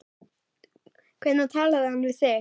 Hvenær talaði hann við þig?